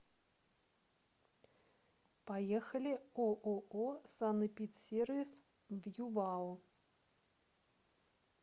поехали ооо санэпидсервис в ювао